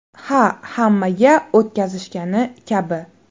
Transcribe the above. Ha, hammaga o‘tkazishgani kabi.